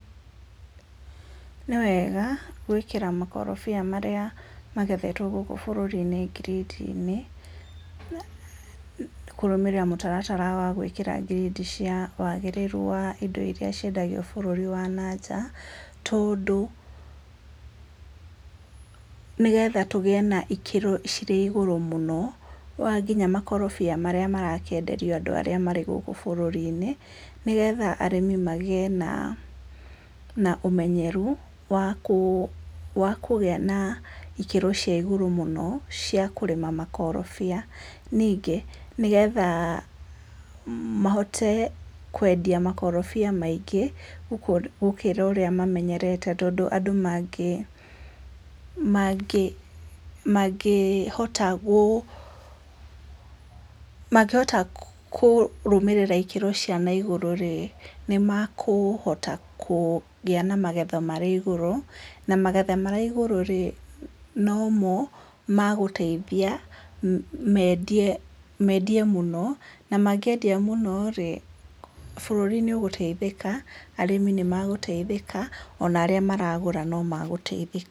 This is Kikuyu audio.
Nĩwega gwĩkĩra makorobia marĩa magethetwo gũkũ bũrũri-inĩ ngirĩndi-inĩ kũrũmĩrĩra mũtaratara wa gwĩkĩra ngirĩndi cia wagĩrĩru wa indo iria ciendagio bũrũri wa nanja, tondũ pause nĩgetha tũgĩe na ikĩro cirĩ igũrũ mũno, wa nginya makorobia marĩa marekĩenderio andũ arĩa marĩ gũkũ bũrũri-inĩ, nĩgetha arĩmi magĩe na na ũmenyeru wa kũũ wa kũgĩa na ikĩro cia igũrũ mũno cia kũrĩma makorobia. Nĩngĩ, nĩgetha mahote kwendia makorobia maingĩ gũkĩra ũrĩa mamenyerete. Tondũ andũ mangĩhota gũ mangĩhota kũrũmĩrĩra ikĩro cia naigũrũ-rĩ, nĩmakũhota kũgĩa na magetha marĩ igũrũ, na magetha marĩ igũrũ-rĩ, nomo magũteithia, mendie mendie mũno, na mangĩendia mũno-rĩ, bũrũri nĩũgũteithĩka, arĩmi nĩmagũteithĩka, ona arĩa maragũra nomagũteithĩka.